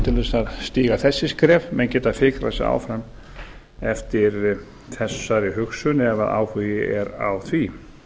þess að stíga þessi skref menn geta fikrað sig áfram eftir þessari hugsun ef áhugi er á því